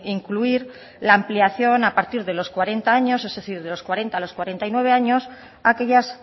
incluir la ampliación a partir de los cuarenta años es decir de los cuarenta a los cuarenta y nueve años a aquellas